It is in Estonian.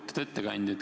Lugupeetud ettekandja!